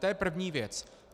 To je první věc.